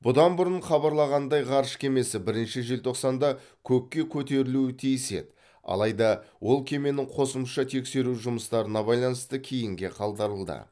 бұдан бұрын хабарланғандай ғарыш кемесі бірінші желтоқсанда көкке көтерілуі тиіс еді адайда ол кеменің қосымша тексеру жұмыстарына байланысты кейінге қалдырылды